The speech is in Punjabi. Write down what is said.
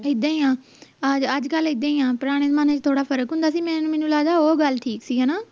ਇੱਦਾਂ ਹੀ ਆ ਅੱਜ ਅੱਜਕਲ ਇੱਦਾਂ ਹੀ ਆ ਪੁਰਾਣੇ ਜਮਾਨੇ ਵਿਚ ਥੋੜਾ ਫਰਕ ਹੁੰਦਾ ਸੀ ਮੈਂ ਮੈਨੂੰ ਲਗਦਾ ਉਹ ਗੱਲ ਠੀਕ ਸੀ ਹਣਾ